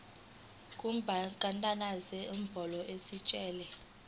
kubandakanya nenombolo yetayitela